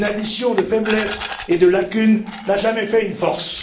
Une addition de faiblesses et de lacunes n'a jamais fait une force.